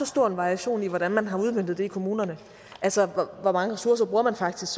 stor variation i hvordan man har udmøntet det i kommunerne altså hvor mange ressourcer man faktisk